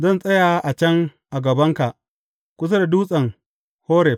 Zan tsaya a can a gabanka, kusa da dutsen Horeb.